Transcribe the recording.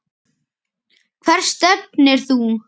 Hvert stefnir þú?